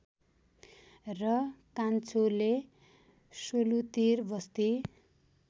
र कान्छोले सोलुतिर बस्ती